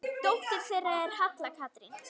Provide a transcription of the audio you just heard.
Dóttir þeirra er Halla Katrín.